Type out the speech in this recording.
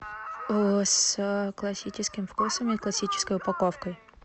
с классическим вкусом и классической упаковкой